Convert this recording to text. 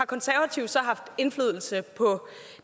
konservative så haft indflydelse på